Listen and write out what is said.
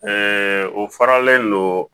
o faralen non